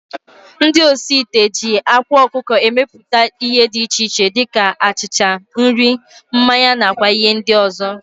Ndị osi ite ji ákwá ọkụkọ emeputa ihe dị iche iche dịka achịcha, nri, mmanya na kwa ihe ndị ọzọ